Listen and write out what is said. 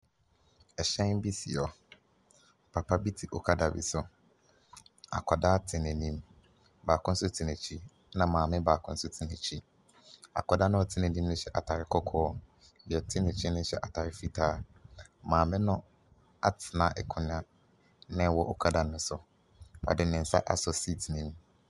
Ɛhyɛn bi si hɔ. Papa bi te okada bi so. Akɔdaa te nanim, baako nso te n'akyi nna maame baako so te n'akyi. Akɔdaa na ɔte n'anim no hyɛ ataade kɔkɔɔ. Deɛ ɔte ne nkyɛn ne hyɛ ataade fitaa. Maame no atena akonwa na ɛwɔ okada ne so. Ɔde ne nsa asɔ siit nim.